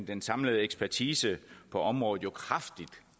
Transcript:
den samlede ekspertise på området jo kraftigt